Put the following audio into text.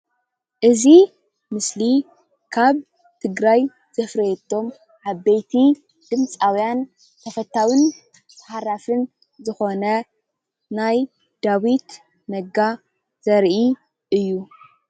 እዚ ምስሊ ካብ ትግራይ ዘፍረየቶም ዓበይቲ ድምጻውያን ተፈታውን ተሃራፍን ዝኾነ ናይ ዳዊት ነጋ ዘርኢ እዩ።